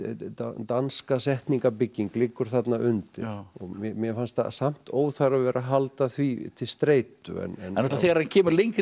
danska liggur þarna undir mér fannst samt óþarfi að vera að halda því til streitu þegar hann kemur lengra inn í